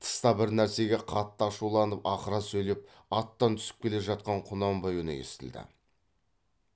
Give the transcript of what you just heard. тыста бір нәрсеге қатты ашуланып ақыра сөйлеп аттан түсіп келе жатқан құнанбай үні естілді